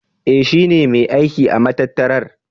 E, shi ne mai aiki da matattarar.